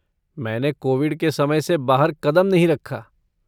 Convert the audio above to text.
मैंने कोविड के समय से बाहर कदम नहीं रखा।